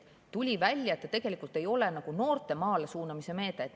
Tuli välja, et see ei ole nagu noorte maale suunamise meede.